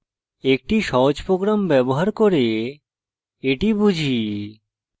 একটি সহজ program ব্যবহার করে এটি বুঝি